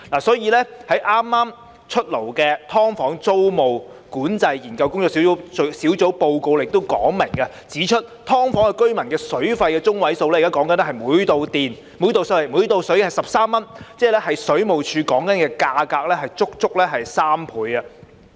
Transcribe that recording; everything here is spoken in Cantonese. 所以，在剛公布的"劏房"租務管制研究工作小組報告亦清楚說明，指"劏房"居民的水費中位數是每度水13元，足足是水務署價格的3倍。